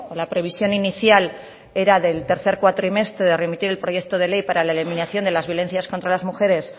la previsión inicial era del tercer cuatrimestre de remitir el proyecto de ley para la eliminación de las violencias contra la mujeres